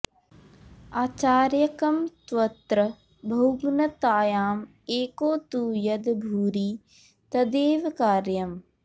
आचार्यकं त्वत्र बहुघ्नतायाम् एको तु यद्भुरि तदेव कार्यम्